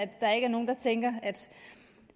der ikke er nogen der tænker